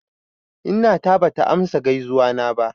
Inna ta bata amsa gaizuwana ba.